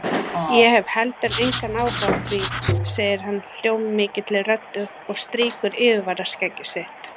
Ég hef heldur engan áhuga á því, segir hann hljómmikilli röddu og strýkur yfirvaraskegg sitt.